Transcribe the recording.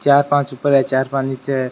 चार पाँच ऊपर है चार पाँच नीचे है।